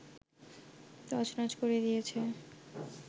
তছনছ করে দিয়েছে